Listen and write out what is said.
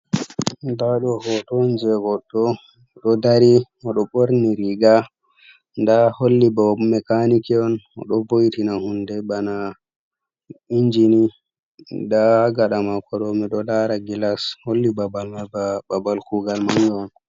Nda ɗo hoto on jei goɗɗo, o ɗo dari, o ɗo ɓorni riga. Nda holli ba o mekaniki on, o ɗo boyitina hunde bana inji ni. Nda ha gaɗa mako ɗo mi ɗo lara gilas, holli babal mai ba babal kuugal manga on.